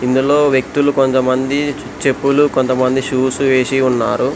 ఇందులో వ్యక్తులు కొంతమంది చెప్పులు కొంతమంది షూస్ వేసి ఉన్నారు